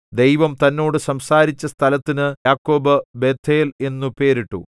ദൈവം തന്നോട് സംസാരിച്ച സ്ഥലത്തിന് യാക്കോബ് ബേഥേൽ എന്നു പേരിട്ടു